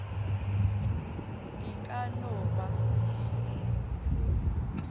di ka no ba di